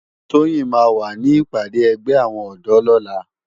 Toyin má wá ni ipàdé ègbè áwòn òdò lòlá